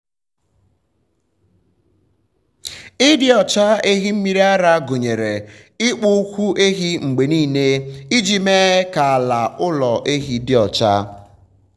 ịdị um ọcha ehi mmiri ara gụnyere ịkpụ ụkwụ ehi mgbe niile um iji mee ka ala ụlọ ehi dị ọcha. um